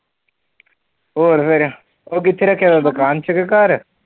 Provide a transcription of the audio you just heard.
ਹੋਰ ਫਿਰ, ਉਹ ਕਿੱਥੇ ਰਖਿਆ ਵਾ ਦੁਕਾਨ ਚ ਕਿ ਘਰ?